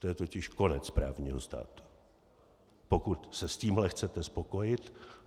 To je totiž konec právního státu, pokud se s tímhle chcete spokojit.